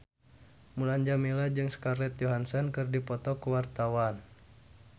Mulan Jameela jeung Scarlett Johansson keur dipoto ku wartawan